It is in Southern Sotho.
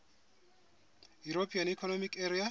european economic area